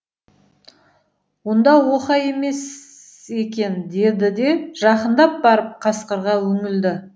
онда оқа емес екен деді де жақындап барып қасқырға үңілді